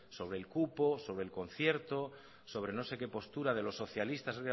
sobre el cupo sobre el concierto sobre no sé qué postura de los socialistas